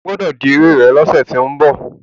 O gbọ́dọ̀ dirí rẹ lọ́sẹ̀ tó ń bọ̀.